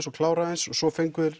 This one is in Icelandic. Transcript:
og klára aðeins og svo fengu þeir